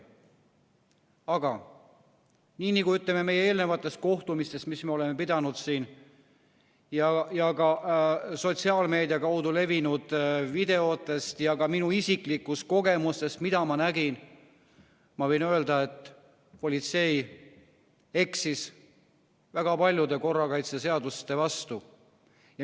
Aga nagu me oleme öelnud eelnevatel kohtumistel, mis me oleme pidanud, et me oleme näinud ka sotsiaalmeedia kaudu levinud videotest ja ma tean ka oma isiklikust kogemusest, mida ma nägin, et politsei eksis väga palju korrakaitseseaduse vastu.